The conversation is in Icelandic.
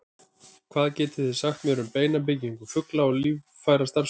hvað getið þið sagt mér um beinabyggingu fugla og líffærastarfsemi